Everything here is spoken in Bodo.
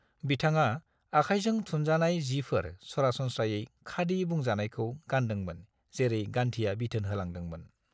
बिथाङा आखाइजों थुनजानाय जिफोर सरासनस्रायै खादि बुंजानायखौ गानदोंमोन जेरै गान्धीया बिथोन होलांदोंमोन।